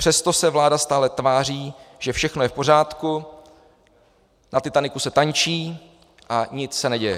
Přesto se vláda stále tváří, že všechno je v pořádku, na Titaniku se tančí a nic se neděje.